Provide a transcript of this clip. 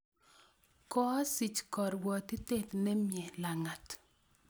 Koasich korwotitoet ne mie lagat.